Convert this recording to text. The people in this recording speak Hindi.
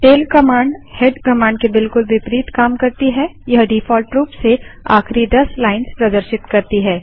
टैल कमांड हेड कमांड के बिलकुल विपरीत काम करती है यह डिफॉल्ट रूप से आखिरी दस लाइन्स प्रदर्शित करती है